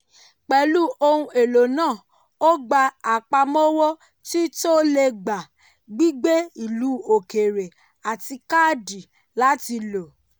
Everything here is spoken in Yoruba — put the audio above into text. pẹ̀lú ohun èlò náà ó gbà àpamọ́wọ́ tí tó le gbà gbígbé ilu òkèèrè àti káàdì láti lò.